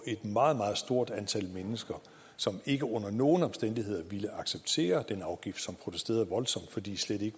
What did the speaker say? et meget meget stort antal mennesker som ikke under nogen omstændigheder ville acceptere den afgift og som protesterede voldsomt fordi de slet ikke